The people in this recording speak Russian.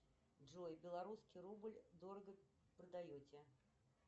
джой белорусский рубль дорого продаете